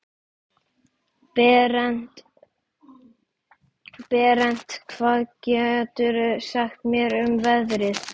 Berent, hvað geturðu sagt mér um veðrið?